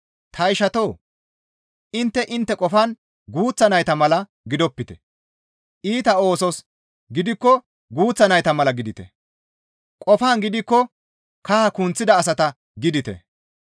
Ta ishatoo! Intte intte qofan guuththa nayta mala gidopite; iita oosos gidikko guuththa nayta mala gidite; qofan gidikko kaha kunththida asata gidite.